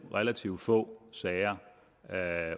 relativt få sager